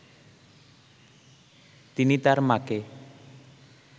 তিনি তার মাকে